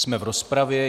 Jsme v rozpravě.